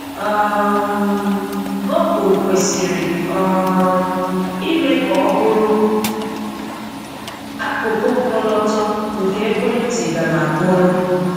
um Google kwesịrị um ime ka ọ bụrụ akụkụ ọkọlọtọ nke ekwentị gam akporo.